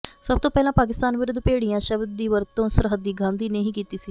ਸਭ ਤੋਂ ਪਹਿਲਾਂ ਪਾਕਿਸਤਾਨ ਵਿਰੁੱਧ ਭੇੜੀਆ ਸ਼ਬਦ ਦੀ ਵਰਤੋਂ ਸਰਹੱਦੀ ਗਾਂਧੀ ਨੇ ਹੀ ਕੀਤੀ ਸੀ